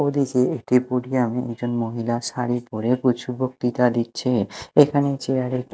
ওদেশী একটি মেয়ে একজন মহিলা শাড়ি পরে কুছু বক্তিতা দিচ্ছে এখানে চেয়ার -এ--